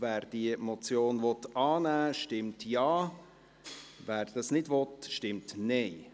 Wer diese Motion annehmen will, stimmt Ja, wer dies nicht will, stimmt Nein.